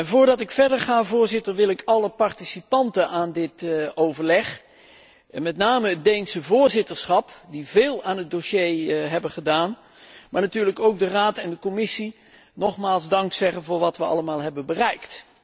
Voordat ik verder ga, wil ik alle participanten aan dit overleg, met name het Deense voorzitterschap, dat veel aan het dossier heeft gedaan, maar natuurlijk ook de Raad en de Commissie, nogmaals bedanken voor wat we allemaal hebben bereikt.